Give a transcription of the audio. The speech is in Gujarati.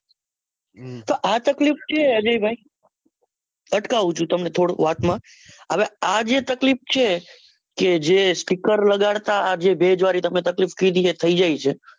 તો આ તકલીફ છે અજય ભાઈ? અટકાવું છું તમને થોડી વાત માં હવે આ જે તકલીફ છે કે જે sticker લગાડતા આ જે ભેજવાળી તમે તકલીફ કીધી એ થઇ જાય છે.